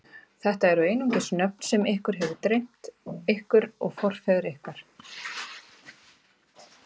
Þetta eru einungis nöfn sem ykkur hefur dreymt, ykkur og forfeður ykkar.